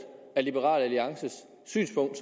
er liberal alliances synspunkt